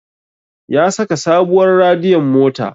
Ya saka sabuwar radiyon mota